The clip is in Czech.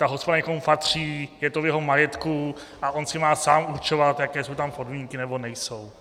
Ta hospoda někomu patří, je to v jeho majetku a on si má sám určovat, jaké jsou tam podmínky nebo nejsou.